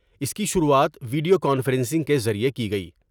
اس کی شروعات video conferencing کے ذریعے کی گئی ۔